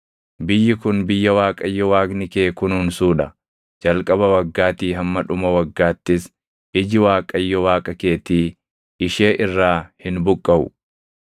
Biyyi kun biyya Waaqayyo Waaqni kee kunuunsuu dha; jalqaba waggaatii hamma dhuma waggaattis iji Waaqayyo Waaqa keetii ishee irraa hin buqqaʼu.